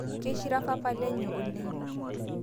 Keishira papa lenye oleng